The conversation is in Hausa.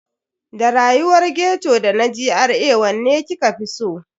Da rayuwar ghetto da na GRA wanne kika fi so?